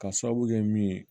Ka sababu kɛ min ye